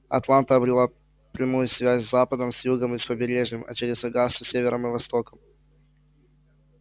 атланта обрела прямую связь с западом с югом и с побережьем а через огасту с севером и востоком